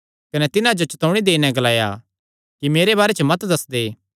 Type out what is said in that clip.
कने तिन्हां जो चतौणी देई नैं ग्लाया कि मेरे बारे च मत दस्सदे